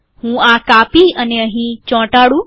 હું આ કોપી અને પેસ્ટ કરું